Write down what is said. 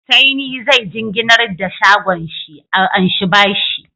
Saini zai jinginnar da shagon shi a anshi bashi